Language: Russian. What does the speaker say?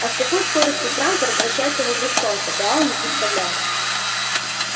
а с какой скоростью трантор вращается вокруг солнца гаал не представлял